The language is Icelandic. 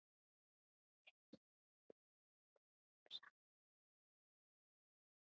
Við snerum bökum saman.